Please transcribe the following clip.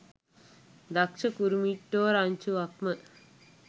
දක්ෂ කුරුමිට්ටෝ රංචුවක්ම.